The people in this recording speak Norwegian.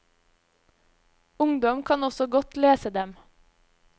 Ungdom kan også godt lese dem.